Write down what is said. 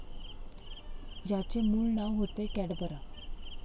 याचे मूळ नाव होते कॅडबरा.